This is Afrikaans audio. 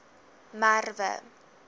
merwe